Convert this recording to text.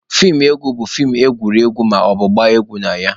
Feem egwu bụ feem agụrụ egwu maọbụ gbaa egwu na ya.